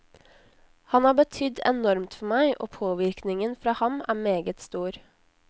Han har betydd enormt for meg, og påvirkningen fra ham er meget stor.